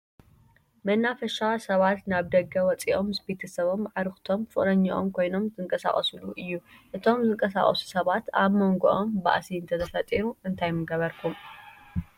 መናፈሻ ሰባት ናብ ደገ ወፂኦም ምስ ቤተሰቦም፣ አዕርኽቶም፣ ፍቅረኝኦም ኮይኖም ዝንቀሳቀስሉ እዩ። እቶም ዝንቀሳቀሱ ሰባት አብ መንጎኦም ባእሲ እንተተፈጢሩ እንታይ ምገበርኩም?